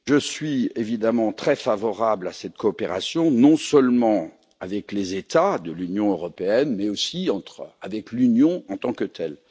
Je suis évidemment très favorable à cette coopération, non seulement avec les États de l'Union européenne mais aussi avec l'Union en tant que telle.